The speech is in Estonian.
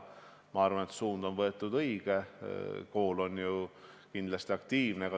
Ma arvan, et võetud on õige suund, kool on kindlasti aktiivne.